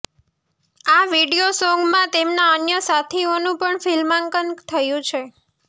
આ વીડિયો સોન્ગમાં તેમના અન્ય સાથીઓનું પણ ફિલ્માંકન થયું છે